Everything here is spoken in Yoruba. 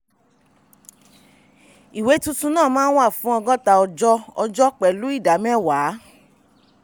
ìwé tuntun náà máa wà fún ọgọ́ta ọjọ́ ọjọ́ pẹ̀lú ìdá mẹ́wàá.